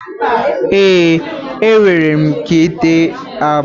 Ee, enwere m ike ịte agba.